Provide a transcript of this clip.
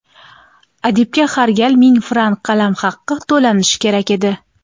adibga har gal ming frank qalamhaqi to‘lanishi kerak edi.